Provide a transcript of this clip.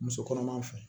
Muso kɔnɔma fɛ